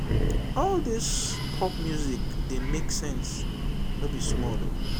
all this pop music dey make sense no be small o